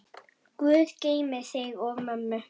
Guð geymi þig og mömmu.